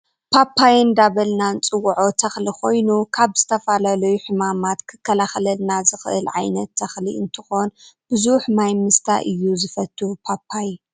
ፓፓየ እንዳበልና እንፅዎዖ ተክሊ ኮይኑ ካብ ዝተፈላለዩ ሕማማት ክከላከለልና ዝክእል ዓይነት ትክሊ እንትኮን ብዙሕ ማይ ምስታይ እውን እዩ ዝፈትው ፓፓየ።